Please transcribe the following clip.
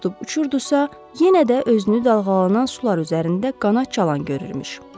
tutub uçurdusa, yenə də özünü dalğalanan sular üzərində qanad çalan görürmüş.